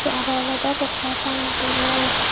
araw olodey poster tangey don.